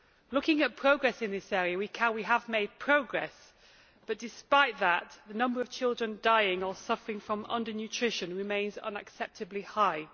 Looking at progress in this area, we have made progress, but despite that, the number of children dying or suffering from undernutrition remains unacceptably high.